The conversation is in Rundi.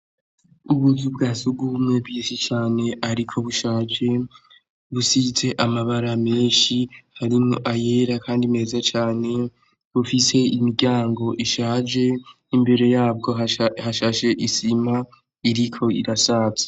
Ubuzu bwa sugumwe bwinshi cane ariko bushaje, busize amabara menshi harimwo ayera kandi meza cane, bufise imiryango ishaje, imbere yabwo hashashe isima iriko irasaza.